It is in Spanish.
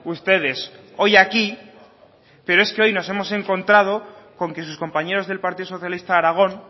ustedes hoy aquí pero es que hoy nos hemos encontrado con que sus compañeros del partido socialista de aragón